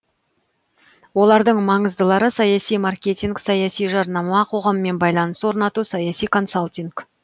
олардың маңыздылары саяси маркетинг саяси жарнама қоғаммен байланыс орнату саяси консалтинг